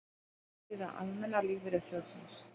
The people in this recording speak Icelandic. Heimasíða Almenna lífeyrissjóðsins